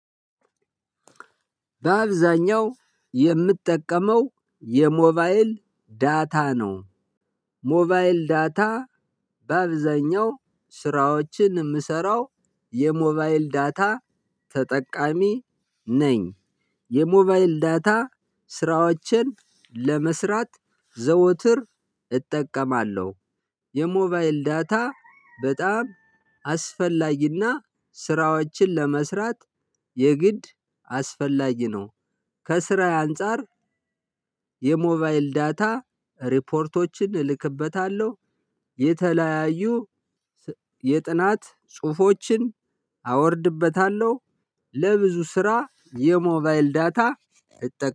በአብዛኛው የምትጠቀመው የሞባይል ዳታ ነው። ሞባይል ዳታ በአብዛኛው ስራዎችን የምሰራው የሞባይል ዳታ ተጠቃሚ ነኝ። የሞባይል ዳታ ስራዎችን ለመስራት ዘወትር እጠቀማለሁ። የሞባይል ዳታ በጣም አስፈላጊና ስራዎችን ለመስራት የግድ አስፈላጊ ነው። ከስራዬ አንፃር የሞባይል ዳታ ሪፖርቶችን እልክበታለሁ። የተለያዩ የጥናት ጽሁፎችን አወርድበታለሁ። ለብዙ ስራ የሞባይል ዳታ እጠቀማለሁ